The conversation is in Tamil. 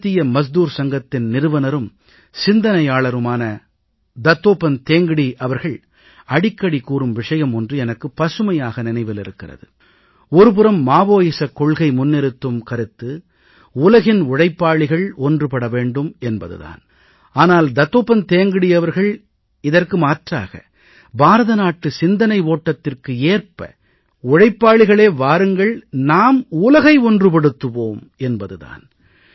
பாரதீய மஸ்தூர் சங்கத்தின் நிறுவனரும் சிந்தனையாளருமான தத்தோபந்த் தேங்கடீ அவர்கள் அடிக்கடி கூறும் விஷயம் ஒன்று எனக்கு பசுமையாக நினைவில் இருக்கிறது ஒரு புறம் மாவோயிச கொள்கை முன்னிறுத்தும் கருத்து உலகின் உழைப்பாளிகள் ஒன்றுபட வேண்டும் என்பது தான் ஆனால் தத்தோபந்த் தேங்கடீ அவர்கள் இதற்கு மாற்றாக பாரத நாட்டு சிந்தனை ஓட்டத்துக்கு ஏற்ப உழைப்பாளிகளே வாருங்கள் நாம் உலகை ஒன்றுபடுத்துவோம் என்பது தான்